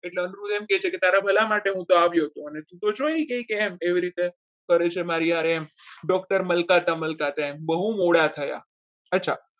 એમ કે છે કે તારા ભલા માટે હું તો આવ્યો હતો ને તું તો જોઈ ગઈ કે એમ કરે છે મારી હારે હમ doctor મલકાતા મલકાતા એમ બહુ મોડા થયા. અચ્છા